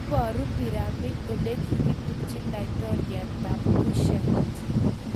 "Iboru pyramid olekikitupchi laitoriatab Kushite"